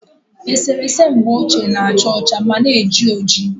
Eserese mgbe ochie na- acha ọcha ma na-eji oji